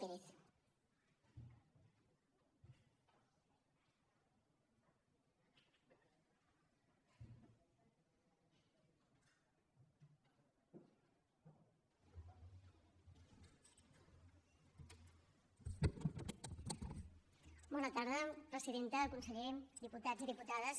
bona tarda presidenta conseller diputats i diputades